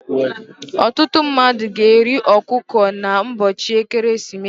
ọtụtụ mmadụ ga-eri ọkụkọ n'ụbọchị ekeresimesi